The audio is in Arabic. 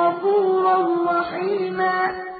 غَفُورًا رَّحِيمًا